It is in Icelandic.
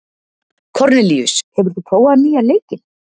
Kornelíus, hefur þú prófað nýja leikinn?